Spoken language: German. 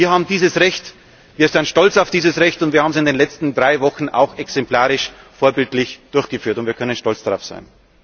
Wir haben dieses Recht, wir sind stolz auf dieses Recht, und wir haben es in den letzten drei Wochen auch exemplarisch und vorbildlich wahrgenommen. Wir können stolz darauf sein.